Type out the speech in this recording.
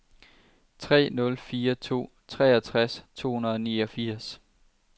tre nul fire to treogtres to hundrede og niogfirs